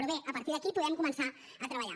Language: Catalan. però bé a partir d’aquí podem començar a treballar